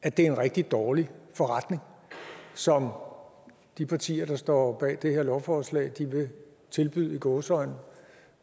at det er en rigtig dårlig forretning som de partier der står bag det her lovforslag vil tilbyde i gåseøjne